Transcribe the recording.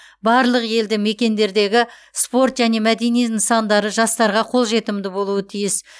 барлық елді мекендердегі спорт және мәдени нысандары жастарға қолжетімді болуы тиіс